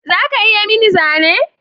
Za ka iya yi mini zane?